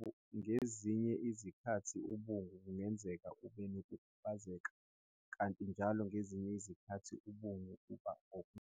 Ngezinye izikhathi umbungu kungenzeka ube nokukhubazeka, kanti njalo ngezinye izikhathi umbungu uba ngojwayelekile.